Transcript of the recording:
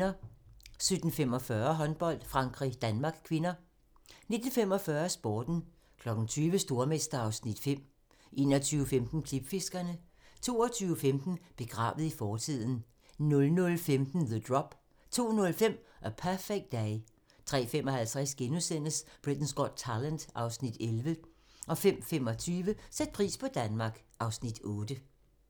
17:45: Håndbold: Frankrig-Danmark (k) 19:45: Sporten 20:00: Stormester (Afs. 5) 21:15: Klipfiskerne 22:15: Begravet i fortiden 00:15: The Drop 02:05: A Perfect Day 03:55: Britain's Got Talent (Afs. 11)* 05:25: Sæt pris på Danmark (Afs. 8)